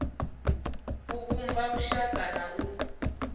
u vhumba lushaka na u